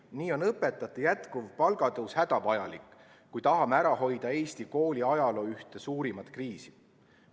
Nii on õpetajate jätkuv palgatõus hädavajalik, kui tahame ära hoida Eesti kooli ajaloo ühte suurimat kriisi.